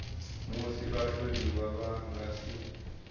musi vhatholiwa vha nga si